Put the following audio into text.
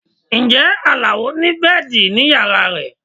Ǹjẹ́ Alao ni bẹ́ẹ̀dì ní yàrá rẹ̀?